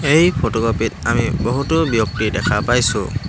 এই ফটোকপি ত আমি বহুতো ব্যক্তি দেখা পাইছোঁ।